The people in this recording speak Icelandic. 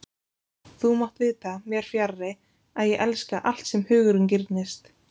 Þú mátt vita, mér fjarri, að ég elska, allt sem hugurinn girnist